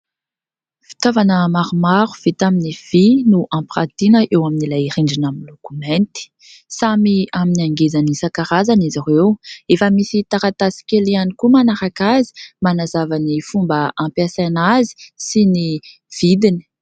Fitaovana maromaro vita amin'ny vy no ampiratiana eo amin'ilay rindrina miloko mainty. Samy amin'ny hangezany isan-karazany izy ireo. Efa misy taratasy kely ihany koa manaraka azy manazava ny fomba ampiasaina azy sy ny vidiny.